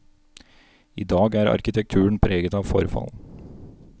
I dag er arkitekturen preget av forfall.